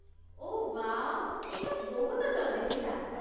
ଓଃ, wow, ଏଇଟା ବହୁତ ଜଲ୍‌ଦି ଥିଲା!